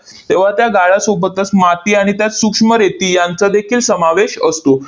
तेव्हा त्या गाळासोबतच माती आणि त्यात सूक्ष्म रेती यांचादेखील समावेश असतो.